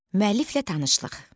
Müəlliflə tanışlıq.